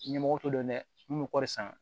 Ɲɛmɔgɔ t'o dɔn dɛ min bɛ kɔri san